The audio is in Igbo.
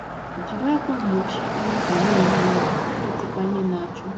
Jiri ákwà mgbochi anwụnta na - ehi ụra, na - etekwa ihe na - achụ ha.